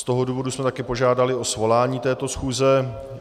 Z toho důvodu jsme také požádali o svolání této schůze.